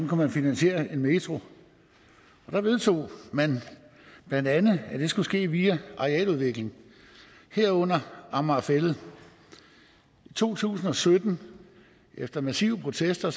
kunne finansiere en metro og der vedtog man bla at det skulle ske via arealudvikling herunder amager fælled i to tusind og sytten efter massive protester